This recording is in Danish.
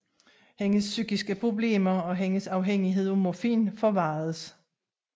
Hendes psykiske problemer og hendes afhængighed af morfin forværredes